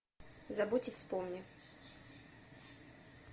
забудь и вспомни